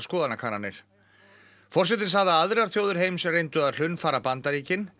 forsetinn sagði að aðrar þjóðir heims reyndu að hlunnfara Bandaríkin að